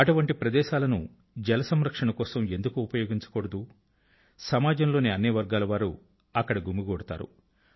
అటువంటి చోట్లను జల సంరక్షణ కోసం ఎందుకు ఉపయోగించకూడదు సమాజంలోని అన్ని వర్గాల వారు అక్కడ గుమిగూడతారు